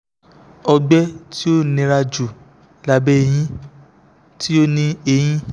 ọgbẹ ti o nira ju labẹ ẹhin ti o ni ẹhin